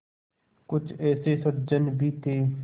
कुछ ऐसे सज्जन भी थे